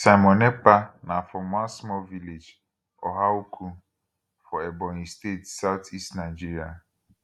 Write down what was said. simon ekpa na from one small village ohaukwu for ebonyi state southeast nigeria